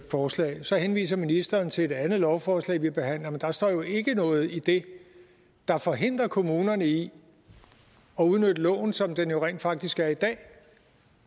forslag så henviser ministeren til et andet lovforslag vi behandler men der står jo ikke noget i det der forhindrer kommunerne i at udnytte loven som den rent faktisk er i dag